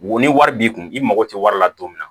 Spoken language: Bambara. Wo ni wari b'i kun i mago tɛ wari la don min na